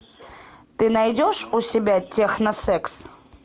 ты найдешь у себя техносекс